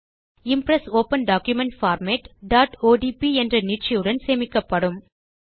Impress open document format odp என்ற நீட்சியுடன் சேமிக்கப்படும்